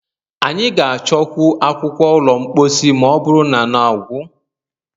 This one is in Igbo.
Anyị ga-achọkwu akwukwor ụlọ mposi ma ọ bụrụ na na gwụ.